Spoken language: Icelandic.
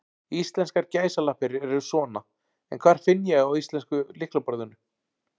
Íslenskar gæsalappir eru svona, en hvar finn ég á íslenska lyklaborðinu?